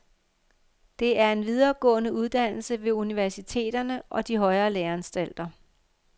Det er en videregående uddannelse ved universiteterne og de højere læreanstalter.